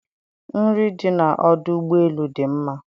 nri dị na ọdụ ụgbọ elu dị mma.